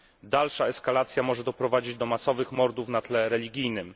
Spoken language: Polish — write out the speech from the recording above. Dalsza eskalacja może doprowadzić do masowych mordów na tle religijnym.